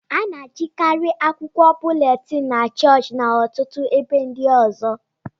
a na-ejikarị akwụkwọ búlétin na chọọchị na ọtụtụ ebe ndị ọzọ